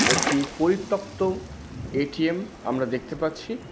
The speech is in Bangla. একটি পরিতক্ত এ_টি_এম আমরা দেখতে পাচ্ছি।